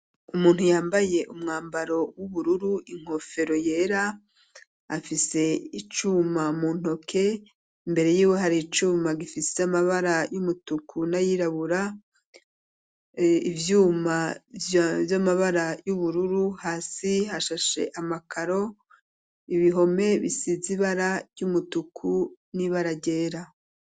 Umuntu yambaye umwambaro w'ubururu inkofero yera afise icuma mu ntoke imbere yiwe hari icuma gifise amabara y'umutuku nayirabura ivyuma vy'amabara y'ubururu hasi hashashe amakaro ibihome bisize ibara ry'umutuku nibara ryera.